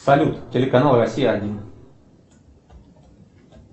салют телеканал россия один